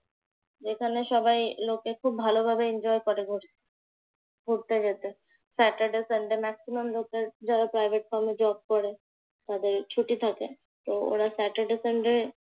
এখানে সবাই লোকে খুব ভালোভাবে enjoy করে ঘু ঘুরতে যেতে। saturday sunday maximum লোকের যারা প্রাইভেট ফার্মে জব করে তাদের ছুটি থাকে। তো ওরা saturday sunday